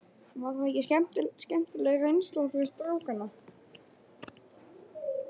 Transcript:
Var það ekki skemmtileg reynsla fyrir strákana?